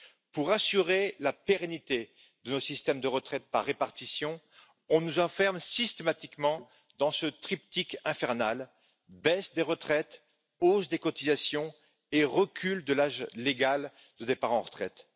Pour assurer la pérennité de nos systèmes de retraite par répartition, on nous enferme systématiquement dans ce triptyque infernal baisse des retraites, hausse des cotisations et recul de l'âge légal de départ en retraite.